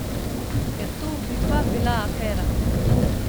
Ker to bi pa bila afera.